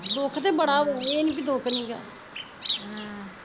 ਦੁਖ ਤੇ ਬੜਾ ਵਾ ਏਹ ਨੀ ਵੀ ਦੁਖ ਨਿਗਾ ਹਮ